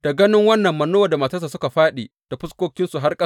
Da ganin wannan Manowa da matarsa suka fāɗi da fuskokinsu har ƙasa.